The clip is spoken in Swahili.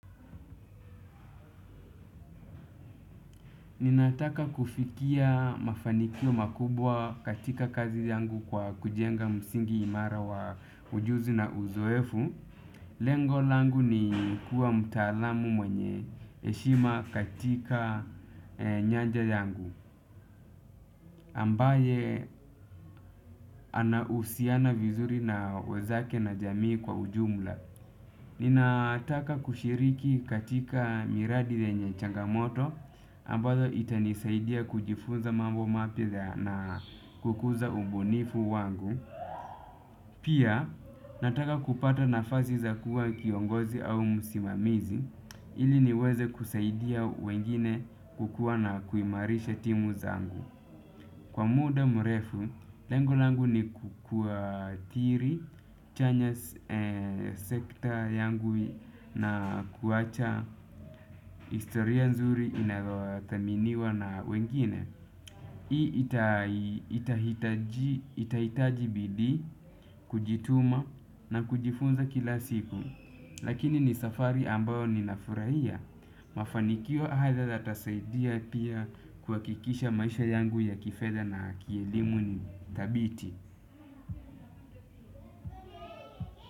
Ninataka kufikia mafanikio makubwa katika kazi yangu kwa kujenga msingi imara wa ujuzi na uzoefu. Lengo langu ni kuwa mtaalamu mwenye heshima katika nyanja yangu ambaye ana usiana vizuri na wenzake na jamii kwa ujumla. Ninataka kushiriki katika miradi yenye changamoto ambazo itanisaidia kujifunza mambo mapya na kukuza ubunifu wangu. Pia nataka kupata nafasi za kuwa kiongozi au msimamizi. Ili niweze kusaidia wengine kukuwa na kuimarisha timu zangu. Kwa muda mrefu, lengo langu ni kukua tiri, chanya sekta yangu na kuacha historia nzuri inayo thaminiwa na wengine. Hii itahitaji bidii, kujituma na kujifunza kila siku. Lakini ni safari ambayo ninafurahia. Mafanikio haya yatasaidia pia kuhakikisha maisha yangu ya kifedha na kielimu ni thabiti.